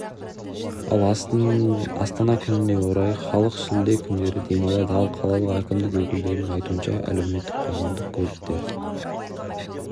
ал астана күнінен орай халыө шілде күндері демалады ал қалалық әкімдік өкілдерінің айтуынша әлеуметтік қоғамдық көліктер